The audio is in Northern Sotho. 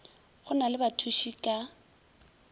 go na le bathuši ka